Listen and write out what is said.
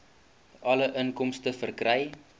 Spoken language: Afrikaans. alle inkomste verkry